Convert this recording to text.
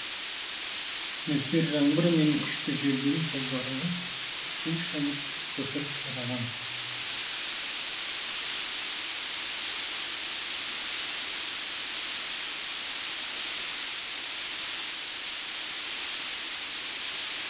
нөсер жаңбыр мен күшті желден жолдарды су шайып көпір қираған